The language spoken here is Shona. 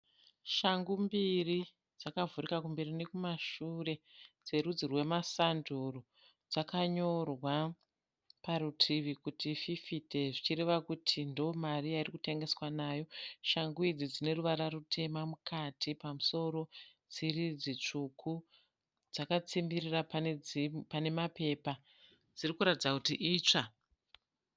Shangu mbiri dzakavhurika kumberi nekumashure dzerudzi rwemasanduru dzakanyorwa parutivi kuti fifite zvichireva kuti ndiyo mari yairi kutengeswa nayo. Shangu idzi dzine ruvara rutema mukati pamusoro dziri dzitsvuku dzakatsimbirira pane mapepa, dzirikuratidza kuti itsva.